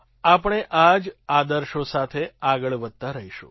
આપણે આ જ આદર્શો સાથે આગળ વધતા રહીશું